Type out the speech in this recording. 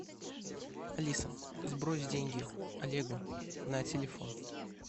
алиса сбрось деньги олегу на телефон